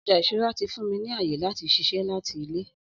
Ọja iṣura ti fun mi ni aye lati ṣiṣẹ lati ile